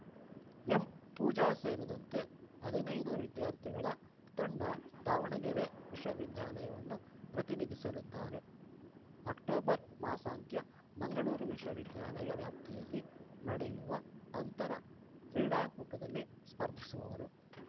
ಎಂಪೂಜಾ ಸೇರಿದಂತೆ ಹದಿನೈದು ವಿದ್ಯಾರ್ಥಿಗಳ ತಂಡ ದಾವಣಗೆರೆ ವಿಶ್ವವಿದ್ಯಾಲಯವನ್ನು ಪ್ರತಿನಿಧಿಸಲಿದ್ದಾರೆ ಅಕ್ಟೋಬರ್‌ ಮಾಸಾಂತ್ಯ ಮಂಗಳೂರು ವಿಶ್ವವಿದ್ಯಾಲಯ ವ್ಯಾಪ್ತಿಯಲ್ಲಿ ನಡೆಯುವ ಅಂತರ ಕ್ರೀಡಾಕೂಟದಲ್ಲಿ ಸ್ಪರ್ಧಿಸುವರು